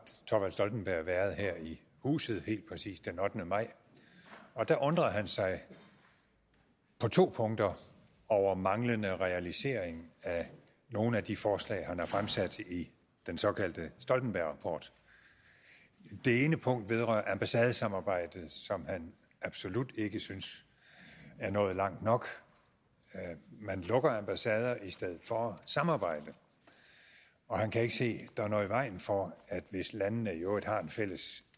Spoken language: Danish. thorvald stoltenberg været her i huset helt præcist den ottende maj og der undrede han sig på to punkter over manglende realisering af nogle af de forslag han har fremsat i den såkaldte stoltenbergrapport det ene punkt vedrører ambassadesamarbejdet som han absolut ikke synes er nået langt nok man lukker ambassader i stedet for at samarbejde og han kan ikke se at der er noget i vejen for hvis landene i øvrigt har en fælles